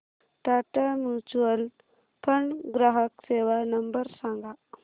Tata mutual fund ग्राहक सेवा number सांगा